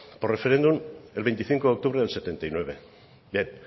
por referéndum el veinticinco de octubre del setenta y nueve bien